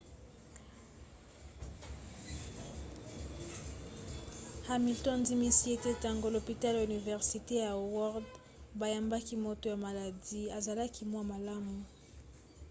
hamilton andimisi ete ntango lopitalo ya universite ya howard bayambaki moto ya maladi azalaki mwa malamu